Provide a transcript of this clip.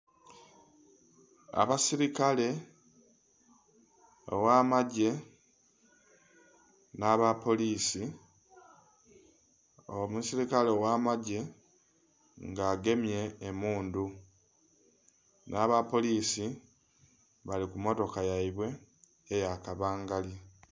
Abasirikale, oghamagye nhaba polisi. Omusikale oghamagye nga agemye emundhu na ba polisi bali kumotoka yaibwe eya kabangali